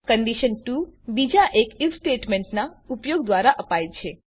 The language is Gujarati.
કંડીશન ૨ બીજા એક આઇએફ સ્ટેટમેંટનાં ઉપયોગ દ્વારા અપાય છે